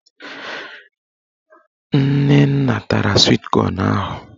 Nnenna tara swit kọn ahụ